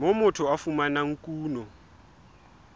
moo motho a fumanang kuno